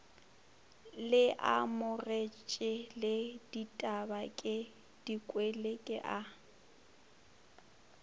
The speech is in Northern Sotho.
leamogetše le ditabake dikwele kea